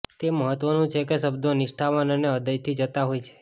તે મહત્વનું છે કે શબ્દો નિષ્ઠાવાન અને હૃદયથી જતા હોય છે